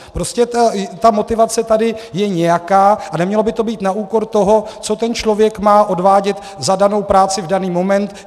Prostě ta motivace tady je nějaká a nemělo by to být na úkor toho, co ten člověk má odvádět za danou práci v daný moment.